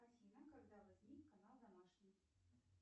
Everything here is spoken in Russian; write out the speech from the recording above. афина когда возник канал домашний